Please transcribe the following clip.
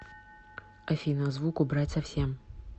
афина звук убрать совсем